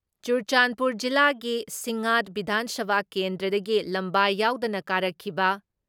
ꯆꯨꯔꯆꯥꯟꯄꯨꯔ ꯖꯤꯂꯥꯒꯤ ꯁꯤꯡꯉꯥꯠ ꯕꯤꯙꯥꯟ ꯁꯚꯥ ꯀꯦꯟꯗ꯭ꯔꯗꯒꯤ ꯂꯝꯕꯥ ꯌꯥꯎꯗꯅ ꯀꯥꯔꯛꯈꯤꯕ